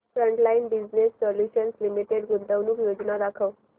frontline business solutions limited गुंतवणूक योजना दाखव